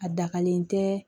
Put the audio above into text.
A dagalen tɛ